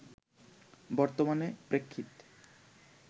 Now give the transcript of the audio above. বর্তমানে প্রেক্ষিত